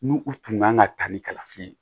N'u u tun kan ka taa ni kalafili ye